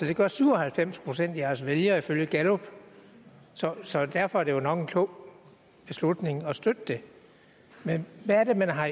det gør syv og halvfems procent af jeres vælgere ifølge gallup så så derfor var det jo nok en klog beslutning at støtte det men hvad er det man har